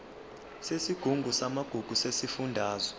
yesigungu samagugu sesifundazwe